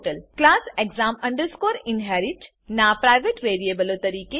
class exam inherit નાં private વેરીએબલો તરીકે